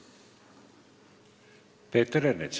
Peeter Ernits.